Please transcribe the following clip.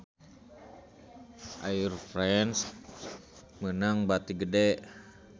Air France meunang bati gede